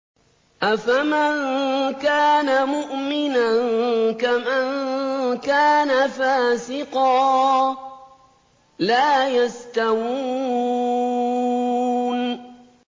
أَفَمَن كَانَ مُؤْمِنًا كَمَن كَانَ فَاسِقًا ۚ لَّا يَسْتَوُونَ